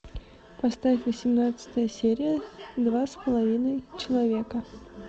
поставь восемнадцатая серия два с половиной человека